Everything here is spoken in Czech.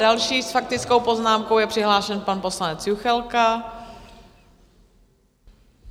Další s faktickou poznámkou je přihlášen pan poslanec Juchelka.